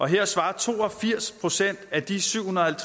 her svarer to og firs procent af de syv hundrede og